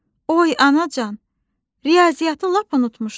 Oy anacan, riyaziyyatı lap unutmuşdum.